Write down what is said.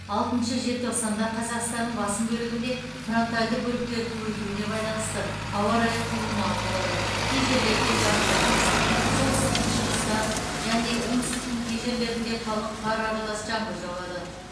алтыншы желтоқсанда қазақстанның басым бөлігінде фронтальді бөліктердің өтуіне байланысты ауа райы құбылмалы болады кей жерлерде жауын шашын түсіп солтүстік шығыста және оңтүстіктің кей жерлерінде қалық қар аралас жаңбыр жауады